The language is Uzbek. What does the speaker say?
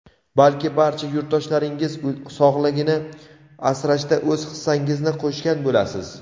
balki barcha yurtdoshlaringiz sog‘ligini asrashda o‘z hissangizni qo‘shgan bo‘lasiz!.